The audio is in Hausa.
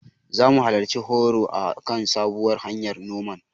Zamu halarci horo a kan sabuwar hanyar noman.